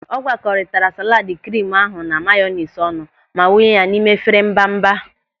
Ọ gwakoritara salaad krimu ahụ na mayonis ọnụ ma wụnye ya n'ime efere mbamba.